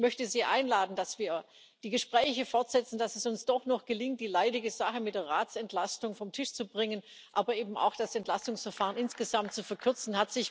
Und ich möchte Sie einladen, dass wir die Gespräche fortsetzen, dass es uns doch noch gelingt, die leidige Sache mit der Ratsentlastung vom Tisch zu bringen, aber eben auch das Entlastungsverfahren insgesamt zu verkürzen.